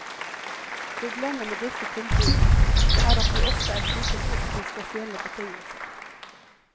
Problemet med disse tilbudene er at de ofte er knyttet opp til spesielle betingelser.